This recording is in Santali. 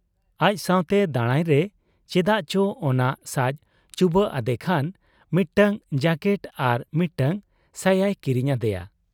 ᱟᱡ ᱥᱟᱶᱛᱮ ᱫᱟᱬᱟᱭᱨᱮ ᱪᱮᱫᱟᱜ ᱪᱚ ᱚᱱᱟ ᱥᱟᱡᱽ ᱪᱩᱵᱟᱹᱜ ᱟᱫᱮ ᱠᱷᱟᱱ ᱢᱤᱫᱴᱟᱹᱝ ᱡᱟᱹᱠᱮᱴ ᱟᱨ ᱢᱤᱫᱴᱟᱹᱝ ᱥᱟᱭᱟᱭ ᱠᱤᱨᱤᱧ ᱟᱫᱮᱭᱟ ᱾